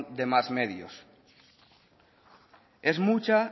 de más medios es mucha